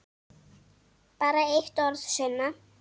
Bara eitt orð, Sunna.